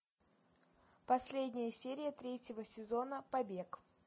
последняя серия третьего сезона побег